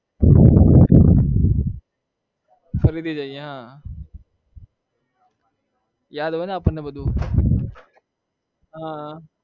ફરીથી જઈએ હા યાદ હોયને આપણને બધું હા